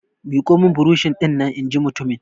Miƙo min burosh dinnan! in ji mutumin!